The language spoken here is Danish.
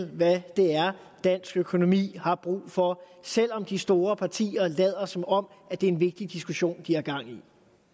hvad det er dansk økonomi har brug for selv om de store partier lader som om det er en vigtig diskussion de har gang i det